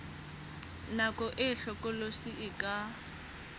nako e hlokolosi e ka